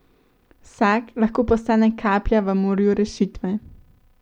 Vsak lahko postane kaplja v morju rešitve.